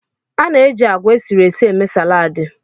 A na-eji agwa esiri ési émee saladi